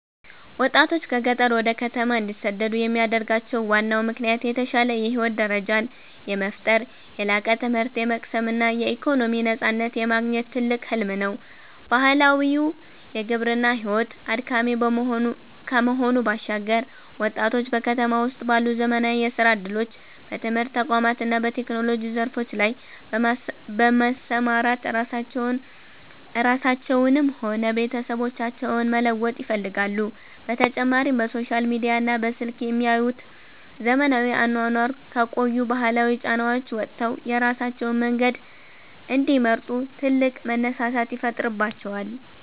ወጣቶች ከገጠር ወደ ከተማ እንዲሰደዱ የሚያደርጋቸው ዋናው ምክንያት የተሻለ የህይወት ደረጃን የመፍጠር፣ የላቀ ትምህርት የመቅሰም እና የኢኮኖሚ ነፃነትን የማግኘት ትልቅ ህልም ነው። ባህላዊው የግብርና ሕይወት አድካሚ ከመሆኑ ባሻገር፣ ወጣቶች በከተማ ውስጥ ባሉ ዘመናዊ የሥራ ዕድሎች፣ በትምህርት ተቋማት እና በቴክኖሎጂ ዘርፎች ላይ በመሰማራት ራሳቸውንም ሆነ ቤተሰቦቻቸውን መለወጥ ይፈልጋሉ፤ በተጨማሪም በሶሻል ሚዲያና በስልክ የሚያዩት ዘመናዊ አኗኗር ከቆዩ ባህላዊ ጫናዎች ወጥተው የራሳቸውን መንገድ እንዲመርጡ ትልቅ መነሳሳትን ይፈጥርባቸዋል።